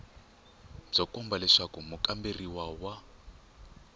byo komba leswaku mukamberiwa wa